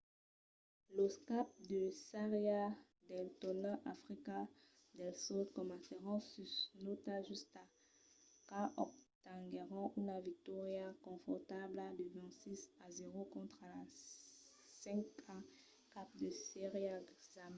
los caps de sèria del torneg d’africa del sud comencèron sus la nòta justa quand obtenguèron una victòria confortabla de 26 a 00 contra la 5a cap de sèria zambia